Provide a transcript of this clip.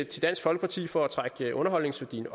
til dansk folkeparti for at trække underholdningsværdien